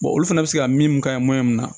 olu fana bɛ se ka min k'a ye mun na